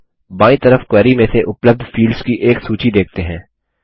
अब बायीं तरफ क्वेरी में से उपलब्ध फील्ड्स की एक सूची देखते हैं